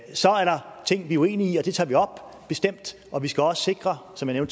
så er der ting vi er uenige i og det tager vi op bestemt og vi skal også sikre som jeg